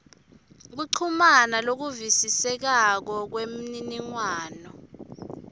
kuchumana lokuvisisekako kwemniningwano